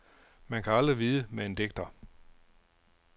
Man kan aldrig vide med en digter.